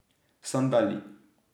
Sandali.